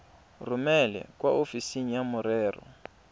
romele kwa ofising ya merero